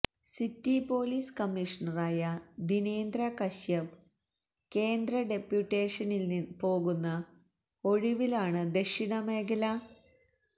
city police കമീഷണറായ ദിനേന്ദ്ര കശ്യപ് കേന്ദ്ര ഡെപ്യൂട്ടേഷനിൽ പോകുന്ന ഒഴിവിലാണ് ദക്ഷിണമേഖല െഎ